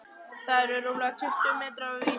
Þetta eru rúmlega tuttugu metrar af vír.